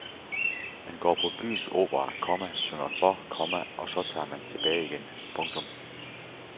Man går på byens opera, komma synger for, komma og så tager man tilbage igen. punktum